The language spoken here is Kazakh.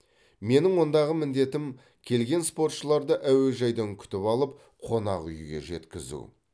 менің ондағы міндетім келген спортшыларды әуежайдан күтіп алып қонақ үйге жеткізу